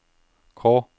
K